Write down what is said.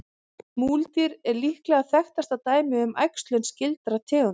Múldýr er líklega þekktasta dæmið um æxlun skyldra tegunda.